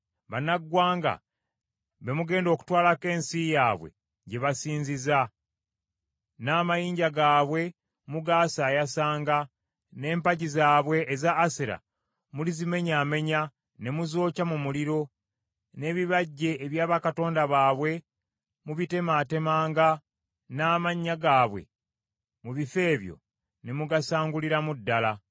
bannaggwanga be mugenda okutwalako ensi yaabwe gye basinziza; n’amayinja gaabwe mugaasaayasanga, n’empagi zaabwe eza Asera mulizimenyaamenya ne muzookya mu muliro; n’ebibajje ebya bakatonda baabwe mubitemaatemanga n’amannya gaabwe mu bifo ebyo ne mugasanguliramu ddala.